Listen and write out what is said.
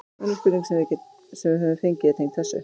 Önnur spurning sem við höfum fengið er tengd þessu: